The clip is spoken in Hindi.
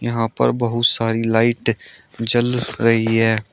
यहां पर बहुत सारी लाइट जल रही है।